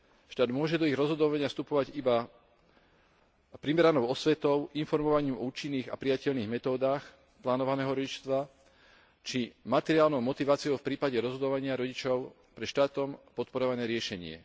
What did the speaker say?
Štát môže do ich rozhodovania vstupovať iba primeranou osvetou, informovaním o účinných a prijateľných metódach plánovaného rodičovstva či materiálnou motiváciou v prípade rozhodovania rodičov pre štátom podporované riešenie.